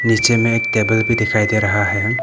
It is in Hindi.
नीचे में एक टेबल भी दिखाई दे रहा है।